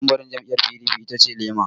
Tambarin jam'iyar PDP itace lema.